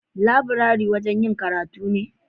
Laburare wajen yin karatu ne.